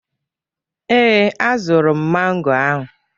Ee, azụrụ m mango ahụ.